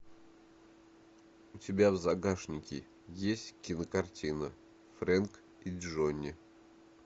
у тебя в загашнике есть кинокартина фрэнки и джонни